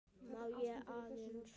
Má ég aðeins!